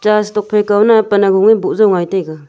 chas tok phai kao nang pan hagung boo jao ngai taiga.